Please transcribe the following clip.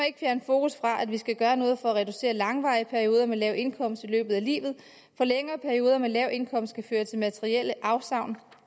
ikke fjerne fokus fra at vi skal gøre noget for at reducere lange perioder med lav indkomst i løbet af livet for længere perioder med lav indkomst kan føre til materielle afsavn